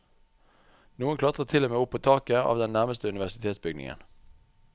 Noen klatret til og med opp på taket av den nærmeste universitetsbygningen.